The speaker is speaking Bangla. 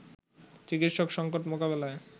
চিকিৎসক সংকট মোকাবেলায়